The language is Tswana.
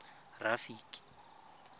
rafiki